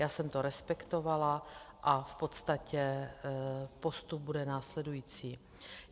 Já jsem to respektovala a v podstatě postup bude následující.